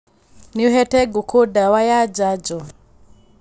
Nĩũhete ngũkũ ndawa ya janjo.